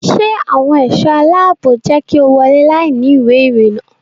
Ṣé àwọn ẹ̀ṣọ́ aláàbò jẹ́ kí o wọ́lé láìní ìwé ìrìnnà?